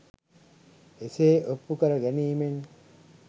එසේ ඔප්පු කර ගැනීමෙන්